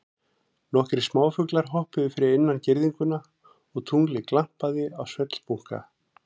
Nokkrir smáfuglar hoppuðu fyrir innan girðinguna og tunglið glampaði á svellbunka.